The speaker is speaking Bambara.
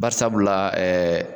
Bari sabula